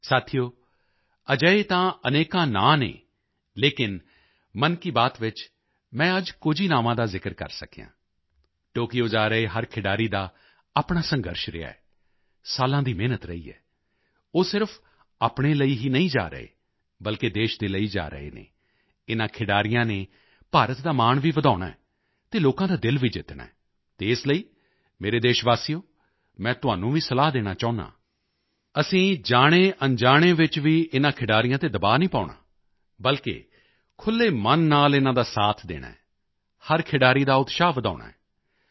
ਸਾਥੀਓ ਅਜਿਹੇ ਤਾਂ ਅਨੇਕਾਂ ਨਾਂ ਹਨ ਲੇਕਿਨ ਮਨ ਕੀ ਬਾਤ ਵਿੱਚ ਮੈਂ ਅੱਜ ਕੁਝ ਹੀ ਨਾਵਾਂ ਦਾ ਜ਼ਿਕਰ ਕਰ ਸਕਿਆ ਹਾਂ ਟੋਕੀਓ ਜਾ ਰਹੇ ਹਰ ਖਿਡਾਰੀ ਦਾ ਆਪਣਾ ਸੰਘਰਸ਼ ਰਿਹਾ ਹੈ ਸਾਲਾਂ ਦੀ ਮਿਹਨਤ ਰਹੀ ਹੈ ਉਹ ਸਿਰਫ ਆਪਣੇ ਲਈ ਹੀ ਨਹੀਂ ਜਾ ਰਹੇ ਬਲਕਿ ਦੇਸ਼ ਦੇ ਲਈ ਜਾ ਰਹੇ ਹਨ ਇਨ੍ਹਾਂ ਖਿਡਾਰੀਆਂ ਨੇ ਭਾਰਤ ਦਾ ਮਾਣ ਵੀ ਵਧਾਉਣਾ ਹੈ ਅਤੇ ਲੋਕਾਂ ਦਾ ਦਿਲ ਵੀ ਜਿੱਤਣਾ ਹੈ ਅਤੇ ਇਸ ਲਈ ਮੇਰੇ ਦੇਸ਼ਵਾਸੀਓ ਮੈਂ ਤੁਹਾਨੂੰ ਵੀ ਸਲਾਹ ਦੇਣਾ ਚਾਹੁੰਦਾ ਹਾਂ ਅਸੀਂ ਜਾਣੇਅਣਜਾਣੇ ਵਿੱਚ ਵੀ ਆਪਣੇ ਇਨ੍ਹਾਂ ਖਿਡਾਰੀਆਂ ਤੇ ਦਬਾਅ ਨਹੀਂ ਪਾਉਣਾ ਬਲਕਿ ਖੁੱਲ੍ਹੇ ਮਨ ਨਾਲ ਇਨ੍ਹਾਂ ਦਾ ਸਾਥ ਦੇਣਾ ਹੈ ਹਰ ਖਿਡਾਰੀ ਦਾ ਉਤਸ਼ਾਹ ਵਧਾਉਣਾ ਹੈ